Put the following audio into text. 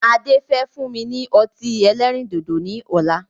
Ade. Fẹ́ fún mi ní ọtí ẹlẹ́rìndòdò ni ọ̀la